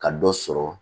Ka dɔ sɔrɔ